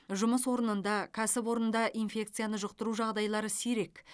жұмыс орнында кәсіпорында инфекцияны жұқтыру жағдайлары сирек